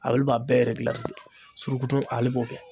Ale b'a bɛɛ eregilarize suruku tɔn ale b'o kɛ